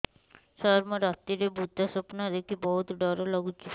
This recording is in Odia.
ସାର ମୁ ରାତିରେ ଭୁତ ସ୍ୱପ୍ନ ଦେଖୁଚି ବହୁତ ଡର ଲାଗୁଚି